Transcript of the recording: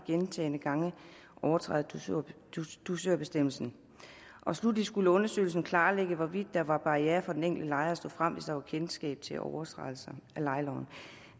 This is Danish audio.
gentagne gange overtræder dusørbestemmelsen sluttelig skulle undersøgelsen klarlægge hvorvidt der var barrierer for den enkelte lejer for at stå frem hvis der var kendskab til overtrædelser af lejeloven